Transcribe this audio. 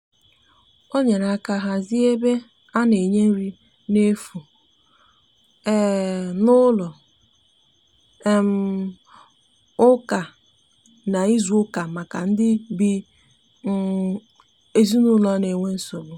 o nyere aka hazie ebe ana nye nri na efụ um n'ụlọ um ụka na izu uka maka ndi um ezinulo n'enwe nsogbu